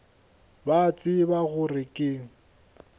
ba a tseba gore ke